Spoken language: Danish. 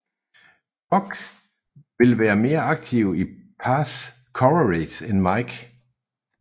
Buck vil være mere aktiv i pass coverage end Mike